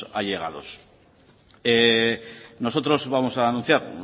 allegados nosotros vamos a anunciar